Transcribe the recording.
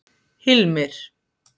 Hilmir